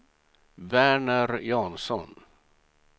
Verner Jansson